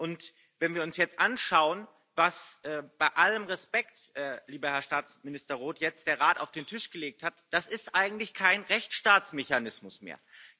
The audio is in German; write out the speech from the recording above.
Und wenn wir uns jetzt anschauen, was bei allem Respekt, lieber Herr Staatsminister Roth der Rat jetzt auf den Tisch gelegt hat, das ist eigentlich kein Rechtsstaatsmechanismus mehr.